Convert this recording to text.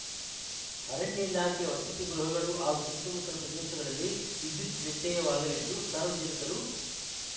ಅರಣ್ಯ ಇಲಾಖೆಯ ವಸತಿ ಗೃಹಗಳು ಹಾಗೂ ಸುತ್ತಮುತ್ತಲ ಪ್ರದೇಶಗಳಲ್ಲಿ ವಿದ್ಯುತ್‌ ವ್ಯತ್ಯಯವಾಗಲಿದ್ದು ಸಾರ್ವಜನಿಕರು